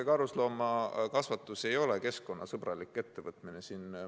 Karusloomakasvatus ei ole keskkonnasõbralik ettevõtmine.